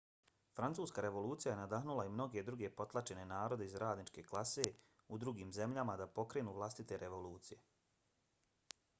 francuska revolucija je nadahnula i mnoge druge potlačene narode iz radničke klase u drugim zemljama da pokrenu vlastite revolucije